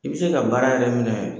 I be se ka baara yɛrɛ minɛ